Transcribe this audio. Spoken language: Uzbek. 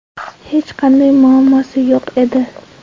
Hech qanday muammosi yo‘q edi.